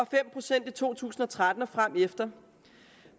fem procent i to tusind og tretten og fremefter